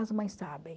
As mães sabem.